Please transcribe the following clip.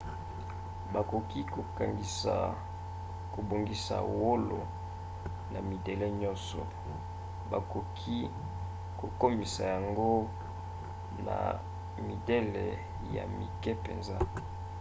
bakoki kobongisa wolo na midele nyonso. bakoki kokomisa yango na midele ya mike mpenza